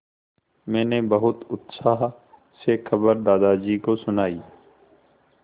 मैंने बहुत उत्साह से खबर दादाजी को सुनाई